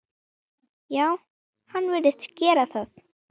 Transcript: Já, hann virðist gera það.